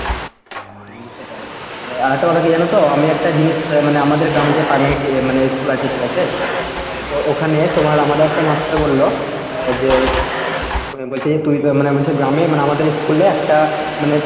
হম সেটাই আর একটা কথা কি জানো তো আমি একটা জিনিস মানে আমাদের গ্রামে যে primary মানে school আছে ঠিক আছে, অ্যাঁ তো ওখানে তোমার আমাদের একটা master বলল যে মানে বলছে যে তুই তো মানে বলছে গ্রামে মানে আমাদের school এ একটা মানে